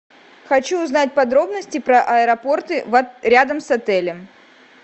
хочу узнать подробности про аэропорты рядом с отелем